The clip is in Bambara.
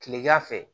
Kilegan fɛ